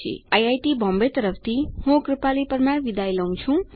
IIT Bombay તરફથી હું કૃપાલી પરમાર વિદાય લઉં છું